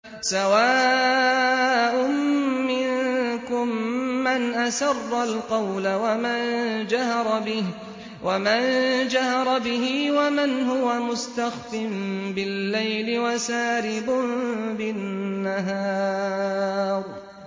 سَوَاءٌ مِّنكُم مَّنْ أَسَرَّ الْقَوْلَ وَمَن جَهَرَ بِهِ وَمَنْ هُوَ مُسْتَخْفٍ بِاللَّيْلِ وَسَارِبٌ بِالنَّهَارِ